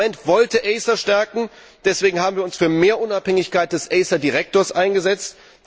Das Parlament wollte ACER stärken, deswegen haben wir uns für mehr Unabhängigkeit des ACER Direktors eingesetzt.